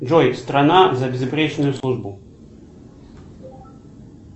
джой страна за безупречную службу